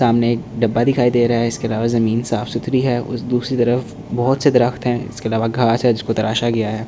सामने एक डब्बा दिखाई दे रहा है इसके अलावा जमीन साफ सुथरी है और दूसरी तरफ बहुत से दरख़्त हैं इसके अलावा घास है जिस को तराशा गया है।